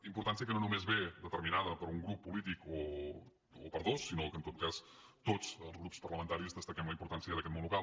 im·portància que no només ve determinada per un grup po·lític o per dos sinó que en tot cas tots els grups parla·mentaris destaquem la importància d’aquest món local